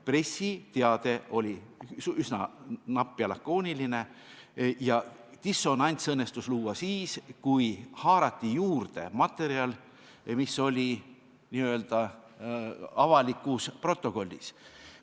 Pressiteade oli üsna napp ja lakooniline ning dissonants õnnestus luua siis, kui haarati juurde materjal, mis oli n-ö avalikus protokollis.